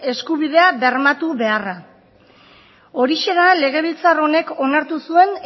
eskubidea bermatu beharra horixe da legebiltzar honek onartu zuen